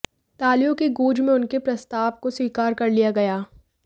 तालियों की गूंज में उनके प्रस्ताव को स्वीकार कर लिया गया